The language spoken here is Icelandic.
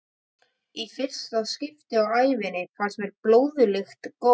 Í fyrsta skipti á ævinni fannst mér blóðlykt góð.